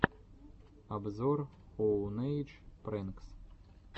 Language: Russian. обзор оунэйдж прэнкс